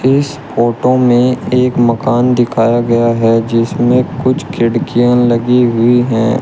इस फोटो मे एक मकान दिखाया गया है जिसमें कुछ खिड़कियां लगी हुई है।